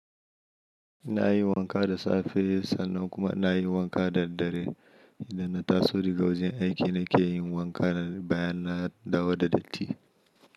Na yi wanka da safe sannan kuma na yi wanka da dare. Idan na taso dagawajen aiki nake yin wanka bayan na dawo da datti.